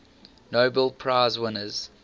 nobel prize winners